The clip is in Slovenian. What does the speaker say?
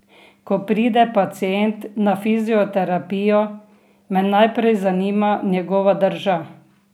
Ko pride pacient na fizioterapijo, me najprej zanima njegova drža!